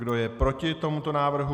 Kdo je proti tomuto návrhu?